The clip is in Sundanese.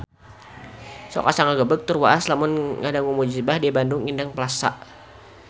Sok asa ngagebeg tur waas lamun ngadangu musibah di Bandung Indah Plaza